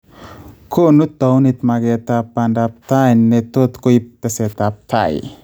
Konuu towuniit makeetab baandab tai ne tot koib teseetaab tai